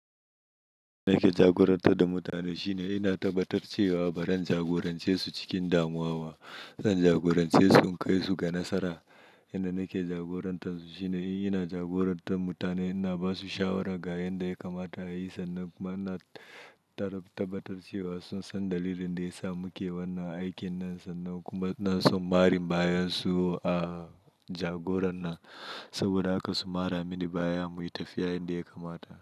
Nake jagorantar da mutane shine ina tabbatar cewa barin jagoranci su cikin damuwa. Zan jagorance su in kai su ga nasara. Yanda nake jagorantar su shine in ina jagorantar mutane, ina ba su shawara ga yanda ya kamata a yi sannan kuma ina tabbatar cewa sun san dalilin da ya sa muke wannan aikin nan sannan kuma suna son marin baya su a jagorana saboda haka su mara mini baya muyi tafiya yanda ya kamata.